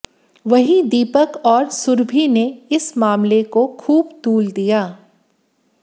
वहीं दीपक और सुरभि ने इस मामले को खूब तूल दिया